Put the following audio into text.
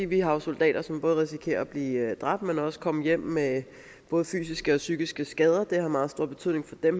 vi har jo soldater som både risikerer at blive dræbt eller at komme hjem med både fysiske og psykiske skader